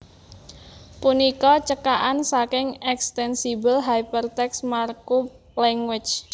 punika cekakan saking eXtensible HyperText Markup Language